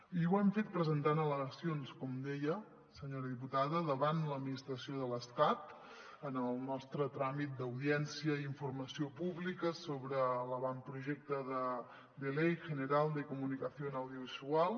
i ho hem fet presentant al·le·gacions com deia senyora diputada davant l’administració de l’estat en el nostre tràmit d’audiència i informació pública sobre l’avantprojecte de ley general de comunicación audiovisual